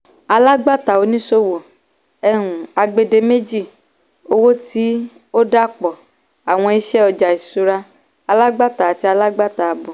alágbàtà/oníṣòwò - um agbèdémèjì owó tí ó dàapọ̀ àwọn iṣẹ́ ọjà ìṣúra - alágbàtà àti alágbàtà àábò.